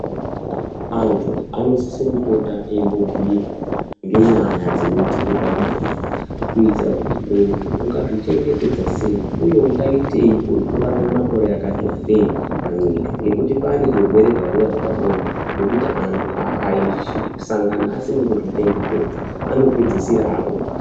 Antu anosise kupota eimbobhiirwa ngenyaya dzinoitike pabonde kuitira kuti muntu ungazvichengetedza sei uye ungaitei kuti urarame makore akati wandei panyika ngekuti pane zvirwere zvaroya zvepabonde zvekuti antu akasangana asina kuzvichengetedza anopedzisira akurwara.